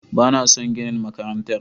Ba na son ginin makarantar